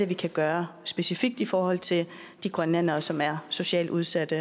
vi kan gøre specifikt i forhold til de grønlændere som er socialt udsatte